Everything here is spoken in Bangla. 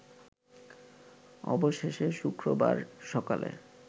অবশেষে শুক্রবার সকালে